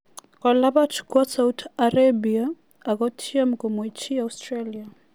Kolabat kwo Saudi Arabia ak kotiem komwechi Australia.